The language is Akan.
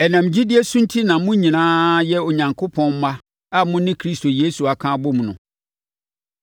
Ɛnam gyidie so enti na mo nyinaa yɛ Onyankopɔn mma a mo ne Kristo Yesu aka abom no.